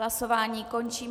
Hlasování končím.